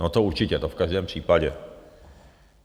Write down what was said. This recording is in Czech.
No to určitě, to v každém případě.